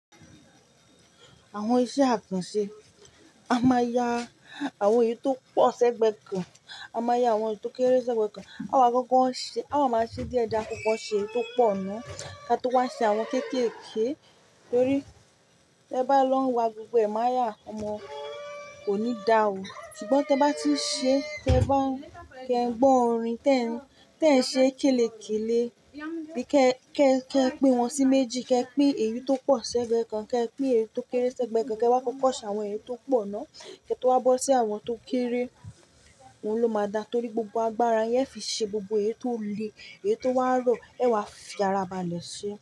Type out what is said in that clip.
Àwọn iṣẹ́ àkànṣe, a máa ya àwọn èyí tó pọ̀ sẹ́gbẹ̀ẹ́ kan, a máa ya àwọn èyí tó kéré sẹ́gbẹ̀ẹ́ kan. A wà máa ṣe díẹ̀ die a kókó ṣe eyi tó pọ̀ náà, ká tó wá ṣe àwọn kéékèèké. Nítorí tí ẹ bá lọ wá gbogbo ẹ̀ máa yà, ọmọ kò ní da o. Ṣùgbọ́n tí ẹ bá tí ń ṣe, tí ẹ bá ń kẹ gbọ́ orin tẹ́ẹ́ns, tẹ́ẹ́ns ṣe kéèlèkéèlé bí kẹ́ẹ́kẹ́ ẹ pé wọ́n sí méjì, kẹ pé èyí tó pọ̀ sẹ́gbẹ̀ẹ́ kan, kẹ pé èyí tó kéré sẹ́gbẹ̀ẹ́ kan, kí ẹ wá kọ́kọ́ ṣe àwọn èyí tó pọ̀ náà, kí ẹ tó wá bọ́ sí àwọn tó kéré. Ohun ló máa dáa, torí gbogbo agbára yin e fi ṣe gbogbo èyí tó le, èyí tó wá rọ̀, ẹ wá fi ara balẹ̀ ṣe ẹ́.